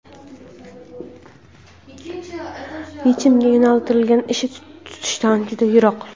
yechimga yo‘naltirilgan ish tutishdan juda yiroq.